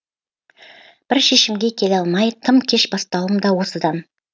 бір шешімге келе алмай тым кеш бастауым да осыдан